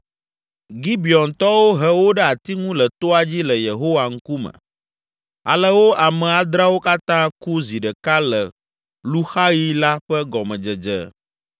Gibeontɔwo he wo ɖe ati ŋu le toa dzi le Yehowa ŋkume. Ale wo ame adreawo katã ku zi ɖeka le luxaɣi la ƒe gɔmedzedze.